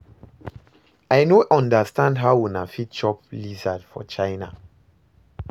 I no understand how una fit dey chop lizard for China